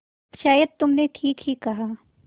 शायद तुमने ठीक ही कहा